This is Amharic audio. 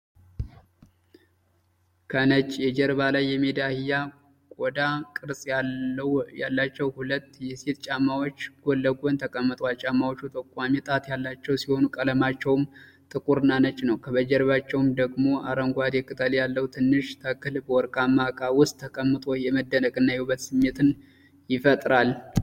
ከነጭ የጀርባ ላይ የሜዳ አህያ ቆዳ ቅርጽ ያላቸው ሁለት የሴቶች ጫማዎች ጎንለጎን ተቀምጠዋል። ጫማዎቹ ጠቋሚ ጣት ያላቸው ሲሆኑ፣ ቀለማቸውም ጥቁርና ነጭ ነው። ከጀርባዎቻቸው ደግሞ አረንጓዴ ቅጠል ያለው ትንሽ ተክል በወርቃማ እቃ ውስጥ ተቀምጦ የመደነቅ እና የውበት ስሜት ይፈጥራል።